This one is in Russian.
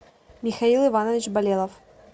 михаил иванович болелов